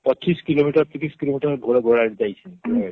ପଚିଶ କିଲୋମିଟର ତିରିଶ କିଲୋମିଟର ଘୋଡାଘୋଡା ଗାଡ଼ିରେ ଯାଇଛେ